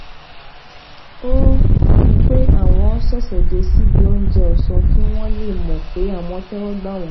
ó um pe awon sesede sibi ounje òsán kí wón lè mò pé àwọn téwó gbà wón